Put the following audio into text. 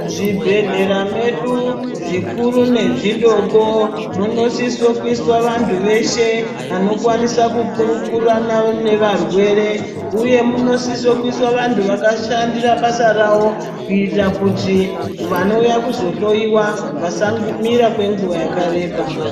Muzvibhedhlera medu zvikuru nezvidoko munosise kuiswa vantu veshe vanokwanisa kukurukurirana nevarwere uye munosisa kuiswa vantu vakashandira basa rawo kuitira kuti vanouya kuzohloiwa vasamira kwenguva yakareba.